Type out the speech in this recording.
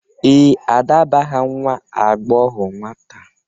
Ee, Ada bụ aha nwa agbọghọ nwata.